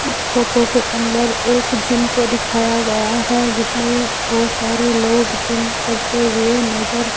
इस फोटो के अंदर एक जिम को दिखाया गया है जिसमें बहुत सारे लोग जिम करते हुए नजर --